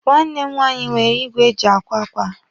Nwanne m nwaanyị nwere igwe e ji akwa akwa.